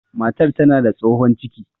Matar tana da tsohon ciki